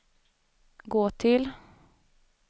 gå till